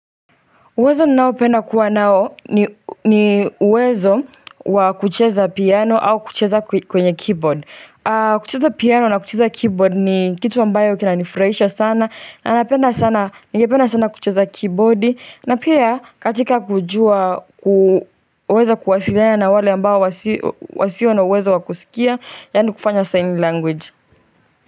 Uwezo nao penda kuwa nao ni uwezo wakucheza piano au kucheza kwenye keyboard. Kucheza piano na kucheza keyboard ni kitu ambayo kinanifraisha sana. Na napenda sana, nigependa sana kucheza keyboardi. Na pia katika kujua kuweza kuwasikia na wale ambao wasio na uwezo wakusikia. Yani kufanya sign language.